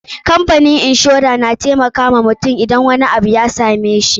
Kamfanin inshora na taimakawa mutum idan wani abu ya same shi.